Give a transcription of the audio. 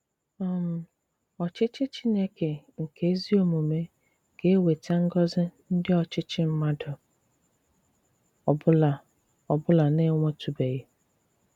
um Òchìchì Chìnékè nke ezi òmùmè ga-ewetà ngọ̀zì ndị òchìchì mmàdù ọ̀bụ̀la ọ̀bụ̀la na-enwètụ̀bèghị.